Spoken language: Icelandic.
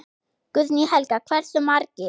Guðný Helga: Hversu margir?